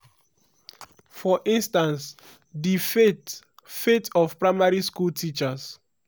for instance di fate fate of primary school teachers.